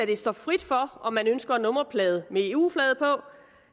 det står frit for om man ønsker en nummerplade med eu flaget på